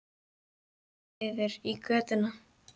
Við horfum niður í götuna.